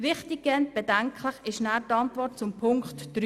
Wichtiger und bedenklicher ist die Antwort zu Punkt 3: